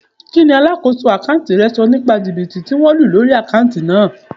Kí ni alákòóso àkántì rẹ sọ nípa jìbìtì tí wón lù lórí àkántì náà?